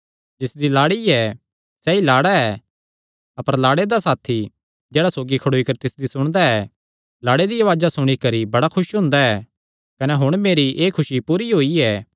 जिसदी लाड़ी ऐ सैई लाड़ा ऐ अपर लाड़े दा साथी जेह्ड़ा सौगी खड़ोई करी तिसदी सुणदा ऐ लाड़े दिया उआज़ा सुणी करी बड़ा खुस हुंदा ऐ कने हुण मेरी एह़ खुसी पूरी होई ऐ